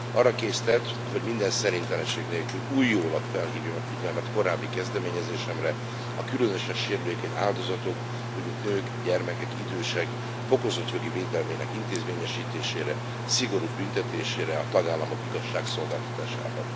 Arra késztet, hogy minden szerénytelenség nélkül újólag felhívjam a figyelmet korábbi kezdeményezésemre, a különösen sérülékeny áldozatok úgy, mint nők, gyermekek, idősek fokozott jogi védelmének intézményesítésére, szigorúbb büntetésére a tagállamok igazságszolgáltatásában.